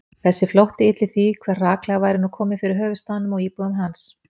Þessi flótti ylli því, hve hraklega væri nú komið fyrir höfuðstaðnum og íbúum hans